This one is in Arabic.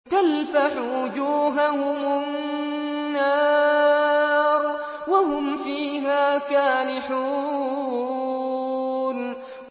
تَلْفَحُ وُجُوهَهُمُ النَّارُ وَهُمْ فِيهَا كَالِحُونَ